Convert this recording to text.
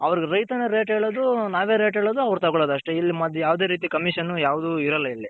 ಅವ್ರಗ್ ರೈತನೇ rate ಹೇಳೋದು ನಾವೇ rate ಹೇಳೋದು ಅವ್ರ್ ತಗೊಳೋದ್ ಅಷ್ಟೆ ಇಲ್ ಮಧ್ಯ ಯಾವದೇ ರೀತಿ Commission ಯಾವ್ದ್ ಇರಲ್ಲ ಇಲ್ಲಿ.